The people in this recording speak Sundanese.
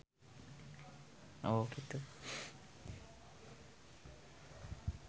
Vino Bastian jeung Kate Moss keur dipoto ku wartawan